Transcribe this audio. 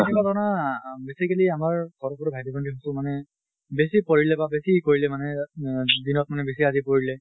কেতিয়াবা ধৰা basically আমাৰ সৰু সৰু ভাইটি ভণ্টি যিটো মানে বেছি পঢ়িলে বা বেছি হেই কৰিলে মানে আহ দিনত মানে বেছি ৰাতি পঢ়িলে